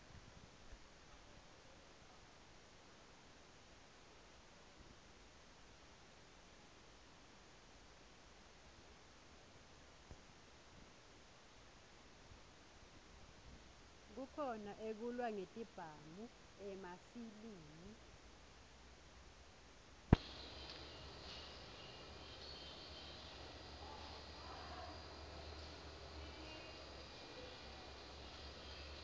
kukhona ekulwa ngetibhamu emafilimi